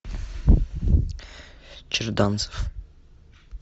черданцев